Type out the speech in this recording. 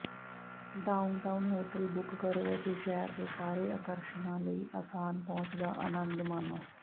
downtown hotel book ਕਰੋ ਅਤੇ ਸ਼ਹਿਰ ਦੇ ਸਾਰੇ ਆਕਰਸ਼ਣਾਂ ਲਈ ਆਸਾਨ ਪਹੁੰਚ ਦਾ ਅਨੰਦ ਮਾਣੋ